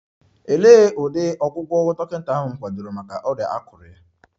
Olee ụdị ọgwụgwọ dọkịta ahụ kwadoro maka ọrịa akụrụ ya?